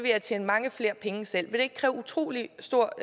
jeg tjene mange flere penge selv vil det ikke kræve utrolig stor